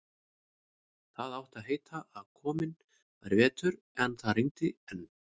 Það átti að heita að kominn væri vetur, en það rigndi enn.